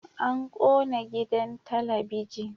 An kona gidan talabijin